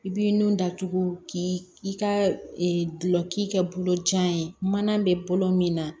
I b'i nun datugu k'i ka dulon k'i kɛ bolo kɛ mana bɛ bolo min na